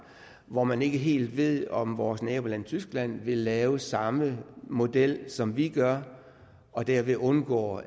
når man ikke helt ved om vores naboland tyskland vil lave samme model som vi gør og derved undgår